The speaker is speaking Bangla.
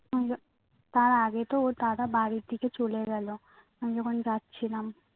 উহ তার আগে তো ওর দাদা বাড়ি থেকে চলে গেলো আমি যখন যাচ্ছিলাম